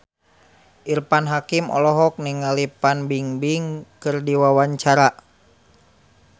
Irfan Hakim olohok ningali Fan Bingbing keur diwawancara